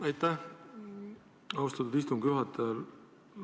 Aitäh, austatud istungi juhataja!